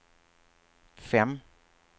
fem